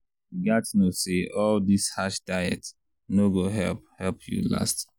you gats know say all this harsh diet no go help help you last.